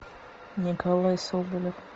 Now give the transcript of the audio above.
николай соболев